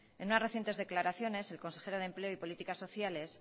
en unas recientes declaraciones el consejero de empleo y políticas sociales